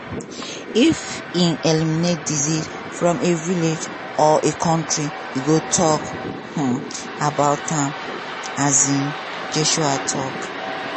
if e eliminate disease from a village or a kontri e go tok um about am" um joshua tok.